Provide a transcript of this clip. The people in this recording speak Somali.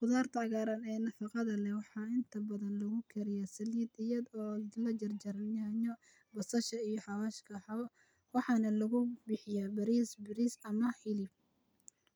""" khudaarta cagaaran ee nafaqada leh waxaa inta badan lagu kariyaa saliid iyada oo la jarjaray yaanyo, basasha, iyo xawaash waxaana lagu bixiyaa bariis, bariis ama hilib.""